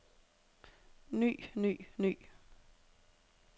ny ny ny